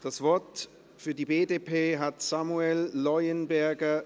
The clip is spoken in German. Das Wort für die BDP hat Samuel Leuenberger,